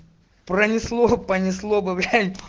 пронесло понесло